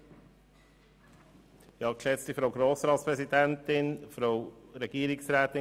Erneute Abstimmung darüber und zwar in einer einzigen Abstimmung.